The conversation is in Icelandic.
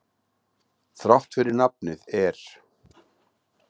Þrátt fyrir nafnið er.